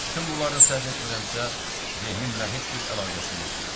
Bütün bunların səhv etmirəmsə, zehnimlə heç bir əlaqəsi yox idi.